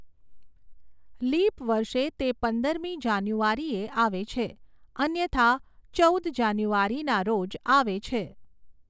Leap વર્ષે તે પંદરમી જાન્યુઆરીએ આવે છે, અન્યથા ચૌદ જાન્યુઆરીના રોજ આવે છે.